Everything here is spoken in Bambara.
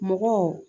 Mɔgɔw